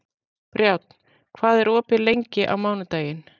Brjánn, hvað er opið lengi á mánudaginn?